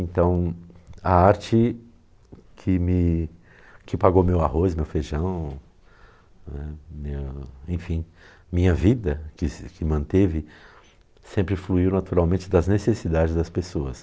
Então, a arte que me que pagou meu arroz, meu feijão né, minha, enfim, minha vida, que manteve, sempre fluiu naturalmente das necessidades das pessoas.